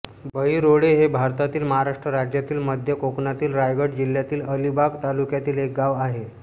बहिरोळे हे भारतातील महाराष्ट्र राज्यातील मध्य कोकणातील रायगड जिल्ह्यातील अलिबाग तालुक्यातील एक गाव आहे